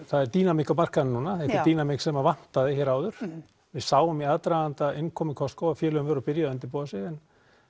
það er dýnamík á markaðnum núna og er dýnamík sem vantaði hér áður við sáum í aðdraganda innkomu Costco að félögin voru byrjuð að undirbúa sig en